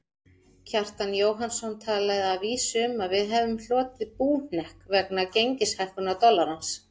Kjartan Jóhannsson talaði að vísu um að við hefðum hlotið búhnykk vegna gengishækkunar dollarans.